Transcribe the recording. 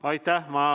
Aitäh!